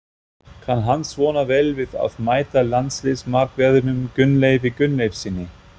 Kann hann svona vel við að mæta landsliðsmarkverðinum Gunnleifi Gunnleifssyni?